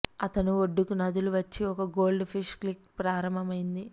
అతను ఒడ్డుకు నదులు వచ్చి ఒక గోల్డ్ ఫిష్ క్లిక్ ప్రారంభమైంది